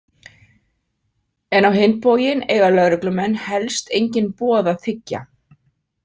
En á hinn bóginn eiga lögreglumenn helst engin boð að þiggja.